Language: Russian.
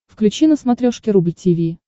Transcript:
включи на смотрешке рубль ти ви